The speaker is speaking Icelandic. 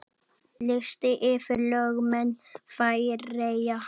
Listi yfir lögmenn Færeyja